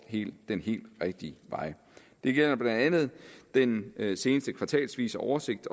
den helt rigtige vej det gælder blandt andet den seneste kvartalsvise oversigt